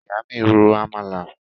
Ìyá mi ro àmàlà